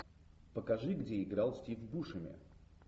покажи где играл стив бушеми